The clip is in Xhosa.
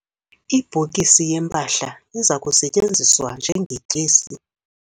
Ibhokisi yempahla iza kusetyenziswa njengetyesi.